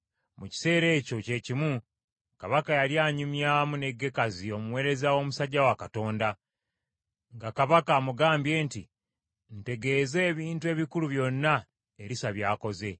Mu kiseera ekyo kye kimu kabaka yali anyumyamu ne Gekazi omuweereza w’omusajja wa Katonda, nga kabaka amugambye nti, “Ntegeeza ebintu ebikulu byonna Erisa by’akoze.”